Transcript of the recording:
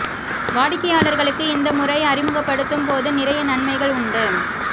வாடிக்கையாளர்களுக்கு இந்த முறை அறிமுகப்படுத்தும் போது நிறைய நன்மைகள் உண்டு